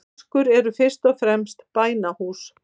Moskur eru fyrst og fremst bænahús.